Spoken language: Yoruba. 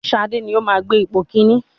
Ṣadé ni ó máa gbé ipò kíní.